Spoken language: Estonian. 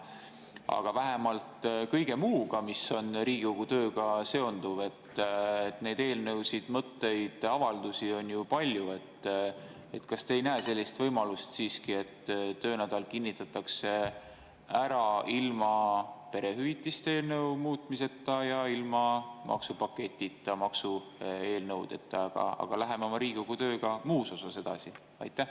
Aga vähemalt kõige muuga, mis on Riigikogu tööga seotud, neid eelnõusid, mõtteid, avaldusi on ju palju – kas te ei näe sellist võimalust siiski, et töönädala kinnitatakse ära ilma perehüvitiste eelnõu muutmiseta ja ilma maksupaketita, maksueelnõudeta, aga me läheme Riigikogu tööga muus osas edasi?